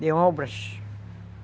de obras.